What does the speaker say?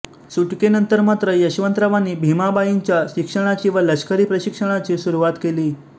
सुटकेनंतर मात्र यशवंतरावांनी भीमाबाईच्या शिक्षनाची व लष्करी प्रशिक्षणाची सुरुवात केली